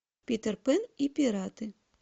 питер пэн и пираты